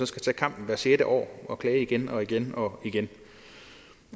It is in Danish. skal tage kampen hvert sjette år og klage igen og igen